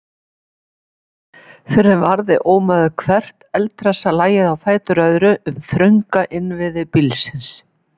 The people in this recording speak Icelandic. Fyrr en varði ómaði hvert eldhressa lagið á fætur öðru um þrönga innviði bílsins.